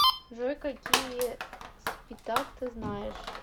джой какие спитак ты знаешь